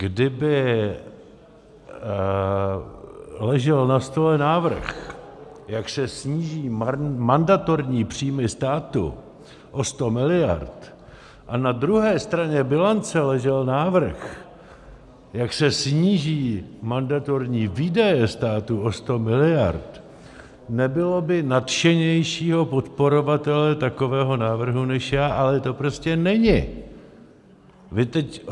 Kdyby ležel na stole návrh, jak se sníží mandatorní příjmy státu o 100 miliard, a na druhé straně bilance ležel návrh, jak se sníží mandatorní výdaje státu o 100 miliard, nebylo by nadšenějšího podporovatele takového návrhu než já, ale to prostě není.